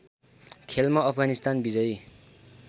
खेलमा अफगानिस्तान विजयी